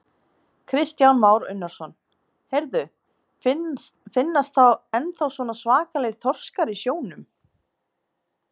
Kristján Már Unnarsson: Heyrðu, finnast ennþá svona svakalegir þorskar í sjónum?